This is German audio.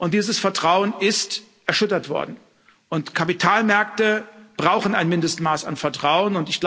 Dieses Vertrauen ist erschüttert worden, und Kapitalmärkte brauchen ein Mindestmaß an Vertrauen.